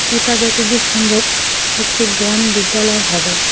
এটা যতদূর সম্ভব একটি ব্যায়াম বিদ্যালয় হবে।